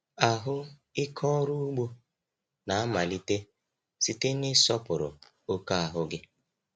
Ahụ ike ọrụ ugbo na-amalite site n’ịsọpụrụ oke ahụ gị.